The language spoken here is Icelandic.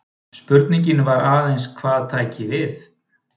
Spurningin var aðeins hvað tæki við.